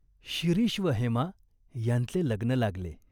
शिरीष व हेमा ह्यांचे लग्न लागले.